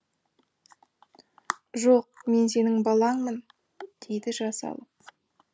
жоқ мен сенің балаңмын дейді жас алып